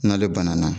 N'ale banana